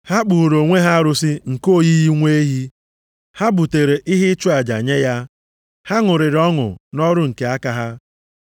Ha kpụụrụ onwe ha arụsị nke oyiyi nwa ehi, ha butere ihe ịchụ aja nye ya. Ha ṅụrịrị ọṅụ nʼọrụ nke aka ha.